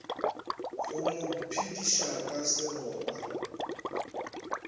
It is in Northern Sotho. go mo phediša ka seroba